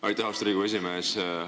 Aitäh, austatud Riigikogu esimees!